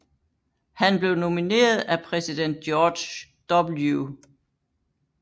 Han blev nomineret af præsident George W